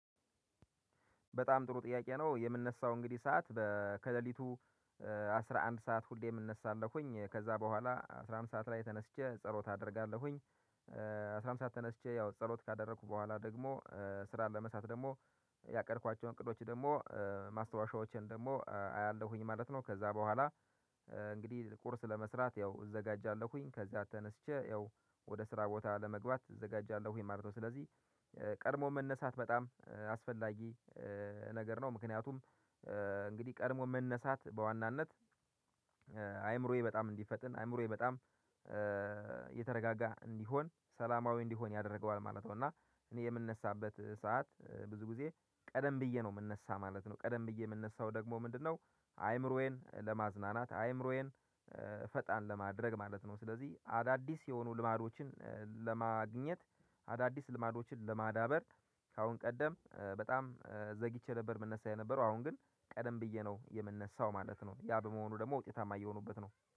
በጣም ጥሩ ጥያቄ ነው? የምነሳው እንግዲህ ሰዓት ከሌሊቱ አስራ አንድ ሰዓት ሁሌም እነሳለኩኝ ከዛ በኋላ አስራ አንድ ሰዓት ላይ ተነስቼ ጸሎት አደርጋለሁኝ። አስራ አንድ ሰዓት ተነስቼ ያው ጸሎት ካደረኩ በኋላ ደግሞ ስራን ለመስራት ደግሞ ያቀድኳቸውን ቅዶች ደግሞ ማስታወሻዎችን ደግሞ አያለሁኝ ማለት ነው። ከዛ በኋላ እንግዲህ ቁርስ ለመስራት ያው እዘጋጃለሁኝ። ከዛ ተነስቼ ያው ወደ ስራ ቦታ ለመግባት እዘጋጃለሁ ማለት ነው። ስለዚህ ቀድሞ መነሳት በጣም አስፈላጊ ነገር ነው። ምክንያቱም እንግዲህ ቀድሞ መነሳት በዋናነት አይምሮዬ በጣም እንዲፈጥን አእምሮዬ በጣም የተረጋጋ እንዲሆን ሰላማዊ እንዲሆን ያደርገዋል ማለት ነው። እና እኔ የምንነሳበት ሰዓት ብዙ ጊዜ ቀደም ብዬ ነው የምንነሳ ማለት ነው። ቀደም ብዬ የምንነሳው ደግሞ ምንድነው? አይምሮዬን ለማዝናናት አይምሮዬን ፈጣን ለማድረግ ማለት ነው። ስለዚህ አዳዲስ የሆኑ ልማዶችን ለማግኘት አዳዲስ ልማዶችን ለማዳበር ካሁን ቀደም በጣም ዘግቼ ነበር የምነሳ የነበረው አሁን ግን ቀደም ብዬ ነው የምነሳው ማለት ነው። ያ በመሆኑ ደግሞ ውጤታማ እየሆኑበት ነው